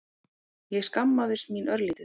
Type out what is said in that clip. Ég skammaðist mín örlítið.